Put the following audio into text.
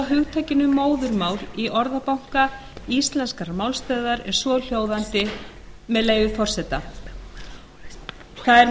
hugtakinu móðurmál í orðabanka íslenskrar málstöðvar er svohljóðandi með leyfi forseta það